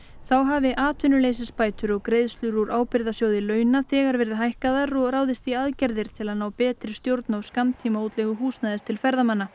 þá hafi atvinnuleysisbætur og greiðslur úr launa þegar verið hækkaðar og ráðist í aðgerðir til að ná betri stjórn á húsnæðis til ferðamanna